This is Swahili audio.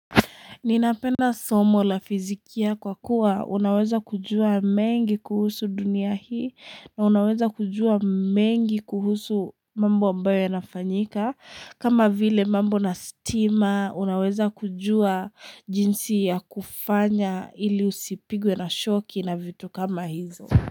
Ninapenda somo la fizikia kwa kuwa unaweza kujua mengi kuhusu dunia hii na unaweza kujua mengi kuhusu mambo ambayo ya nafanyika kama vile mambo na stima unaweza kujua jinsi ya kufanya ili usipigwe na shoki na vitu kama hizo.